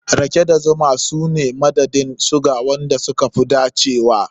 Rake da zuma su ne madadin suga wanda suka fi dacewa.